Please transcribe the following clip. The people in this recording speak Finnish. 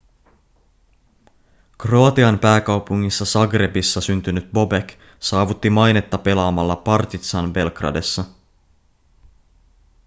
kroatian pääkaupungissa zagrebissa syntynyt bobek saavutti mainetta pelaamalla partizan belgradessa